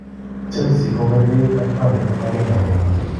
Chelsea kokerkeit ak Burnley en 1-1.